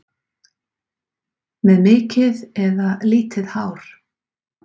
Með mikið eða lítið hár?